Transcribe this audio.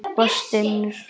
Og stynur.